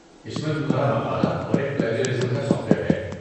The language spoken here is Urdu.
اس میں تمہارا مقالہ اور ایک پلیجرازم کا سافٹ ویر ہے۔